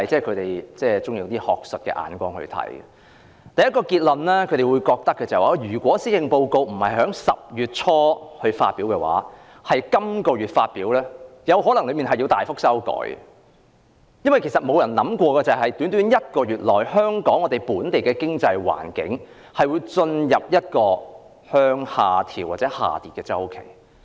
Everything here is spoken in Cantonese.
他們得出的第一個結論是，如果施政報告不是在10月初而是這個月才發表，當中的內容可能要作大幅修改，因為沒人會想到在短短一個月內，本地經濟環境會進入下跌的周期。